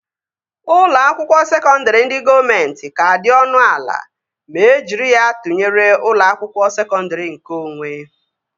Ụlọ akwụkwọ sekọndri ndị gọọmenti ka dị ọnụ ala ma e jiri ya tụnyere ụlọ akwụkwọ sekọndri nkeonwe